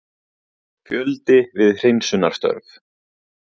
Fjöldi við hreinsunarstörf